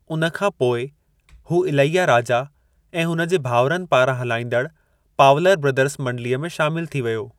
उन खां पोइ, हू इलैयाराजा ऐं हुन जे भाउरनि पारां हलाइंदड़ु पावलर ब्रदर्स मंडलीअ में शामिलु थी वियो।